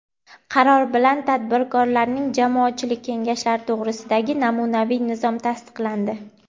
Qaror bilan Tadbirkorlarning jamoatchilik kengashlari to‘g‘risidagi namunaviy nizom tasdiqlandi.